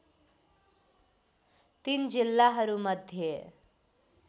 ३ जिल्लाहरू मध्ये